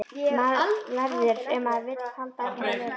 Verður- ef maður vill halda áfram að lifa.